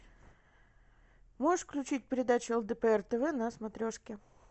можешь включить передачу лдпр тв на смотрешке